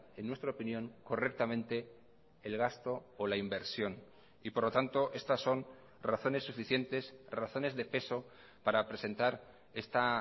en nuestra opinión correctamente el gasto o la inversión y por lo tanto estas son razones suficientes razones de peso para presentar esta